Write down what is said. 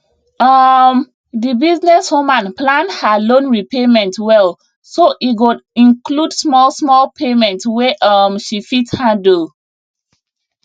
um di business woman plan her loan repayment well so e go include smallsmall payments wey um she fit handle